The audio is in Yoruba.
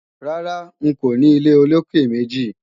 Rárá, n kò ní ilé olókè-méjì